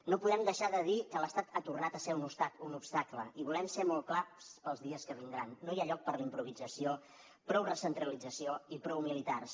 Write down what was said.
no podem deixar de dir que l’estat ha tornat a ser un obstacle i volem ser molt clars per als dies que vindran no hi ha lloc per a la improvisació prou recentralització i prou militars